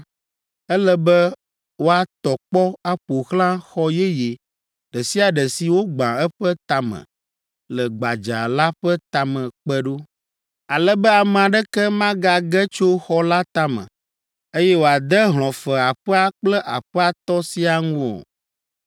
“Ele be woatɔ kpɔ aƒo xlã xɔ yeye ɖe sia ɖe si wogba eƒe tame le gbadza la ƒe tame kpe ɖo, ale be ame aɖeke magage tso xɔ la tame, eye wòade hlɔ̃fe aƒea kple aƒea tɔ siaa ŋu o.